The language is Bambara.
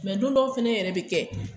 Mɛ don dɔw fɛnɛ yɛrɛ be kɛ